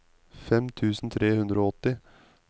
fem tusen tre hundre og åtti